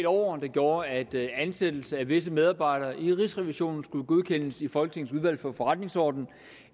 over der gjorde at ansættelse af visse medarbejdere i rigsrevisionen skulle godkendes i folketingets udvalg for forretningsordenen